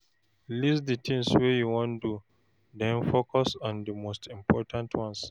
List all di things wey you wan do, then focus on di most important ones